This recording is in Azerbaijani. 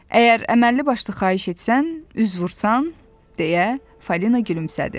Əgər əməlli başlı xahiş etsən, üz vursan, deyə Falina gülümsədi.